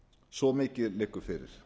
svo mikið liggur fyrir